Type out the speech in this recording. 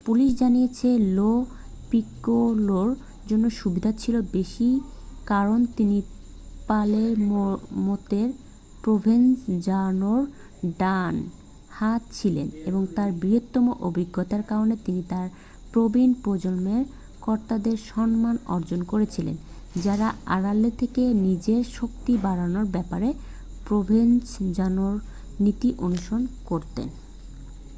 police জানিয়েছে Lo পিকোলোর জন্য সুবিধা ছিল বেশি কারণ তিনি পালের্মোতে প্রোভেনজানোর ডান হাত ছিলেন এবং তার বৃহত্তর অভিজ্ঞতার কারণে তিনি তার প্রবীণ প্রজন্মের কর্তাদের সম্মান অর্জন করেছিলেন যারা আড়ালে থেকে নিজের শক্তি বাড়ানোর ব্যাপারে প্রোভেনজানোর নীতি অনুসরণ করতেন